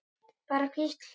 Bara hvísl.